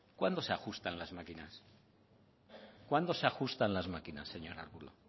cuándo se ajustan las máquinas señor arbulo